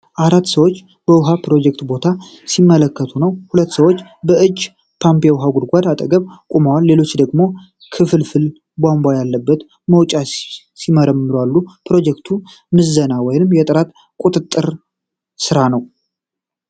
አራት ሰዎች በውሃ ፕሮጀክት ቦታ ሲመለከቱ ነው። ሁለቱ ሰዎች የእጅ ፓምፕ የውሃ ጉድጓድ አጠገብ ቆመዋል። ሌሎቹ ደግሞ ክፍልፋይ ቧንቧ ያለበትን መውጫ ሲመረምሩ አሉ ። የፕሮጀክት ምዘና ወይም የጥራት ቁጥጥር ሥራ ነው።